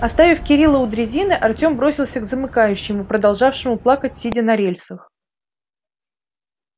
оставив кирилла у дрезины артём бросился к замыкающему продолжавшему плакать сидя на рельсах